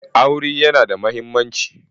Aure yana da mahimmanci.